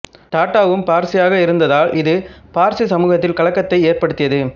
டாட்டாவும் பார்சியாக இருந்ததால் இது பார்சி சமூகத்தில் கலக்கத்தை ஏற்படுத்தியது